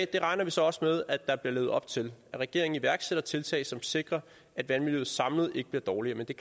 det regner vi så også med at der bliver levet op til at regeringen iværksætter tiltag som sikrer at vandmiljøet samlet ikke bliver dårligere men det